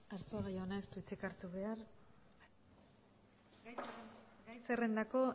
arzuaga jaunak ez du hitzik hartu behar gai zerrendako